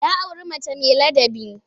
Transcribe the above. Ya auri mace mai ladabi.